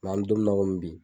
an mɛ don min na komi bi.